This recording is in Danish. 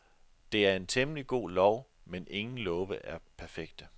Det er en temmelig god lov, men ingen love er perfekte.